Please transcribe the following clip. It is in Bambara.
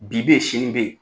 Bi bɛ ye sini bɛ ye.